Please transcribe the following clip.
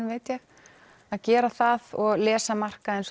veit ég að gera það og lesa markaðinn